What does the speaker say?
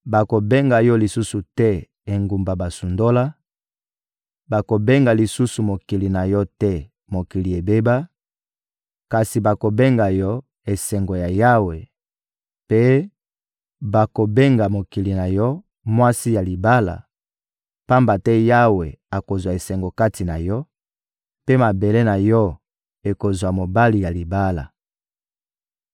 Bakobenga yo lisusu te Engumba basundola, bakobenga lisusu mokili na yo te Mokili ebeba; kasi bakobenga yo «Esengo ya Yawe,» mpe bakobenga mokili na yo «Mwasi ya libala,» pamba te Yawe akozwa esengo kati na yo, mpe mabele na yo ekozwa mobali ya libala.